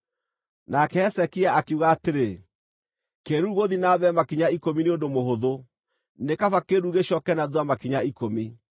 Nake Hezekia akiuga atĩrĩ, “Kĩĩruru gũthiĩ na mbere makinya ikũmi nĩ ũndũ mũhũthũ, nĩ kaba kĩĩruru gĩcooke na thuutha makinya ikũmi.”